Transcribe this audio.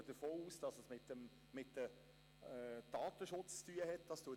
Wir gehen davon aus, dass es mit dem Datenschutz zusammenhängt.